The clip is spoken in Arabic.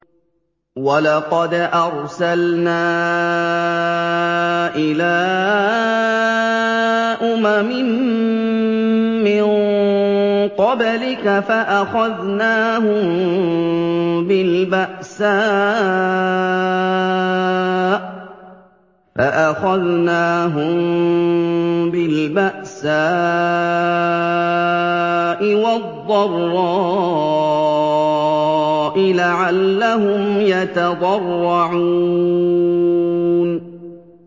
وَلَقَدْ أَرْسَلْنَا إِلَىٰ أُمَمٍ مِّن قَبْلِكَ فَأَخَذْنَاهُم بِالْبَأْسَاءِ وَالضَّرَّاءِ لَعَلَّهُمْ يَتَضَرَّعُونَ